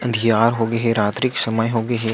अँधियार होंगे हे रात्री के समय होगे हे।